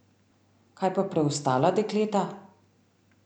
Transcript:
Kaj pa preostala dekleta?